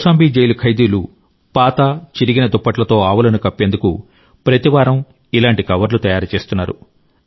Kaushambi jail ఖైదీలు పాత చిరిగిన దుప్పట్లతో ఆవులను కప్పేందుకు ప్రతివారం ఇలాంటి కవర్లు తయారు చేస్తున్నారు